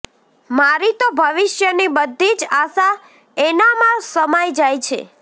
મારી તો ભવિષ્યની બધી જ આશા એનામાં સમાઇ જાય છે